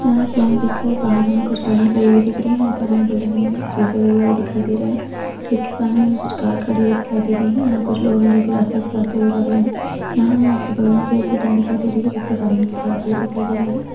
यहाँ एक बैंक दिख रहा है बाहर हमें कुछ गाडियां खड़ी हुई दिख रही है ऊपर हमें बिल्डिंग मे शीशे लगे हुए दिखाई दे रहे है इसके सामने हमें कुछ कार खड़ी हुई दिखाई दे रही है यहाँ कुछ लोग है जो कि रास्ते से जाते हुए लग रहे है यहाँ हमें इसके बगल मे भी एक बिल्डिंग दिखाई दे रही है जिसके सामने हमें बड़ा पेड़ दिखाई दे रहा है।